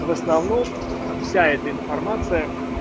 основном вся эта информация